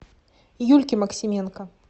юльке максименко